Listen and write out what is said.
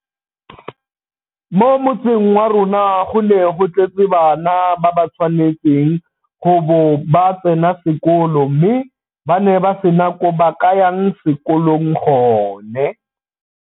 Mo motseng wa rona go ne go tletse bana ba ba tshwanetseng go bo ba tsena sekolo mme ba ne ba sena ko ba ka yang sekolong gone.